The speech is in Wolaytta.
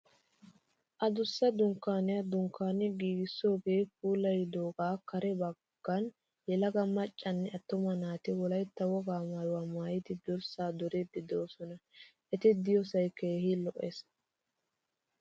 Adussa dunkkaaniya dunkkaani giigissoogaa puulayidogaa kare baggan yelaga maccanne attuma naati wolaytta wogaa maayuwa maayidi durssaa duriiddi de'oosona. Eti de'iyoosay keehi lo'es.